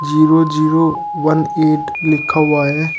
Zero zero one eight लिखा हुआ है।